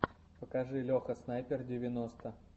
покажи леха снайпер девяносто